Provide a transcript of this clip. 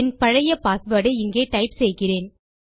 என் பழைய பாஸ்வேர்ட் ஐ இங்கே டைப் செய்கிறேன்